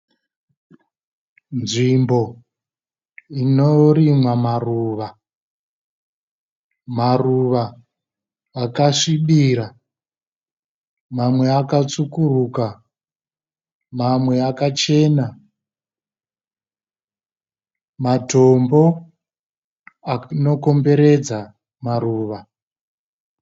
Nzvimbo inorimwa maruva. Maruva akasvibira mamwe akatsvukuruka mamwe akachena. Matombo anokomberedza maruva.